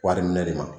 Wari minɛ de ma